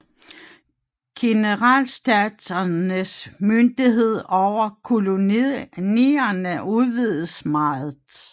Generalstaternes myndighed over kolonierne udvidedes meget